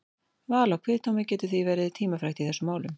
Val á kviðdómi getur því verið tímafrekt í þessum málum.